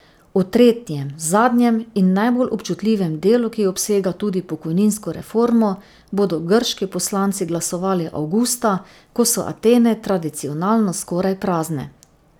O tretjem, zadnjem in najbolj občutljivem delu, ki obsega tudi pokojninsko reformo, bodo grški poslanci glasovali avgusta, ko so Atene tradicionalno skoraj prazne.